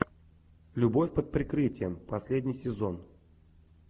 любовь под прикрытием последний сезон